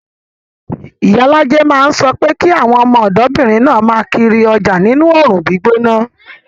Iyalaje máa ń sọ pé kí àwọn ọmọdébìnrin náà máa kiri ọjà nínú oòrùn gbígbóná